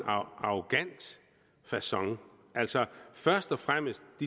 arrogant facon altså først og fremmest